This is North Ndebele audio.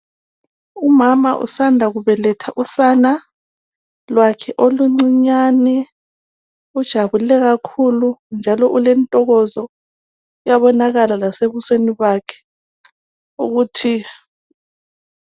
Umama usanda kubeletha usana lwakhe oluncinyane ujabule kakhulu njalo ulentokozo uyabonakala lasebusweni bakhe.